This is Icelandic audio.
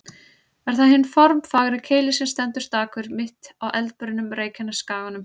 Er það hinn formfagri Keilir sem stendur stakur, mitt á eldbrunnum Reykjanesskaganum.